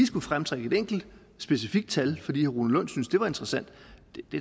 skulle fremtrække et enkelt specifikt tal fordi herre rune lund synes det var interessant